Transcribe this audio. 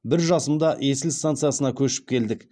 бір жасымда есіл станциясына көшіп келдік